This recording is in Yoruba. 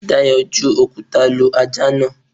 Dayọ̀ ju òkúta lu ajá náà.